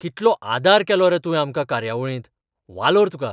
कितलो आदार केलो रे तुवें आमकां कार्यावळींत, वालोर तुका!